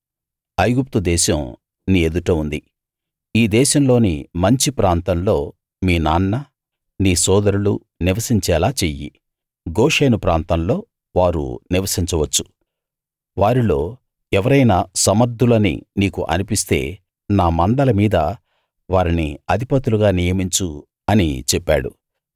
ఐగుప్తు దేశం నీ ఎదుట ఉంది ఈ దేశంలోని మంచి ప్రాంతంలో మీ నాన్న నీ సోదరులూ నివసించేలా చెయ్యి గోషెను ప్రాంతంలో వారు నివసించవచ్చు వారిలో ఎవరైనా సమర్ధులని నీకు అనిపిస్తే నా మందల మీద వారిని అధిపతులుగా నియమించు అని చెప్పాడు